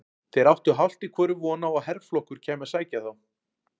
Þeir áttu hálft í hvoru von á að herflokkur kæmi að sækja þá.